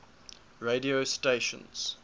radio stations